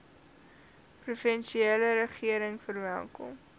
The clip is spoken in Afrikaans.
provinsiale regering verwelkom